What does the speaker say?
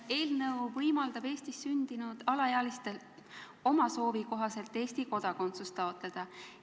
Eelnõu võimaldab Eestis sündinud alaealistel oma soovi kohaselt Eesti kodakondsust taotleda.